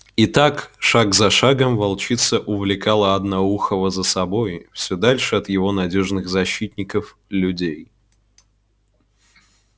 и так шаг за шагом волчица увлекала одноухого за собой все дальше от его надёжных защитников людей